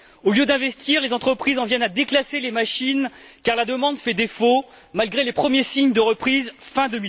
Au lieu d'investir, les entreprises en viennent à déclasser les machines, car la demande fait défaut malgré les premiers signes de reprise fin